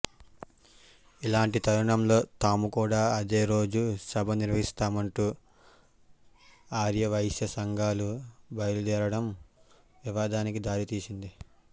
ఇలాంటి తరుణంలో తాము కూడా అదే రోజు సభ నిర్వహిస్తామంటూ ఆర్యవైశ్య సంఘాలు బయలుదేరడం వివాదానికి దారితీసింది